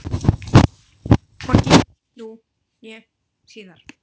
Hvorki nú né síðar.